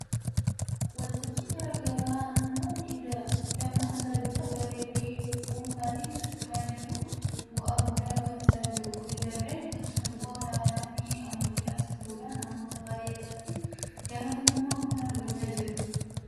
Waltajjii garaa garaa namoonni dammaksan bifa gareefi dhuunfaatiin socho'uudhaan bu'aa guddaa argamsiisaa jiru. Jarreen kun sirboota aadaafi ammayyaa sirbuudhaan namoota baay'ee biratti jaalatamummaa guddaa argachaa jiru. Keessumaa yeroo ammaa sirbi ammayyaa biyya kana keessatti jaalatamummaa guddaa argachaa jira.